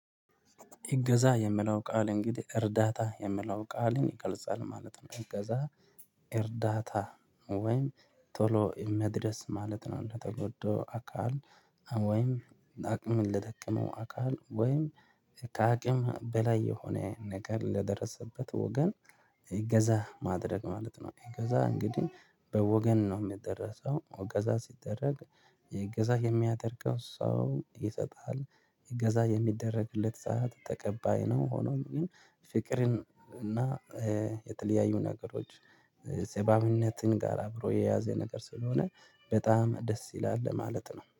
እገዛ የምለው ቃል እንግዲህ እርዳታ የሚለውን ቃልን ይገልጻል ማለት ነው። እገዛ እርዳታ ወይም ቶሎ መድረስ ማለት ነው። ለተጎዳው አካል ወይም አቅምን ለደከመው አካል ወይም ከአቅም በላይ የሆነ ነገር ለደረሰበት ወገን። እገዛ ማድረግ ማለት ነው። እገዛ እንግዲህ ለወገን ነው የሚደረገው እገዛ ሲደረገው እገዛ የሚያደርገው ሰው ይሰጥሃል እገዛ የሚደረግለት ሰዓት ተቀባይ ነው። ሆኖም ግን ፍቅርን እና የተለያዩ ነገሮች የሰብአዊነትን ጋር አብሮ የያዘ ነገር ስለሆነ በጣም ደስ ይላል ለማለት ነው